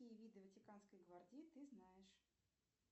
какие виды ватиканской гвардии ты знаешь